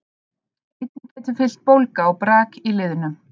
Einnig getur fylgt bólga og brak í liðnum.